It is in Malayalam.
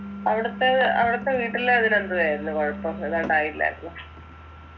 അവിടത്തെ അവിടത്തെ വീട്ടില് അതിലെന്തുവായിരുന്നു കുഴപ്പം ഇതുണ്ടായില്ലായിരുന്നോ